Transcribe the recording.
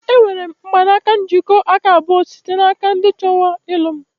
Enwere m mgbanaka njikọ aka abụọ site n'aka ndị chọwara ilu m.